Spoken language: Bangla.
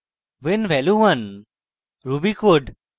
when value 1 ruby code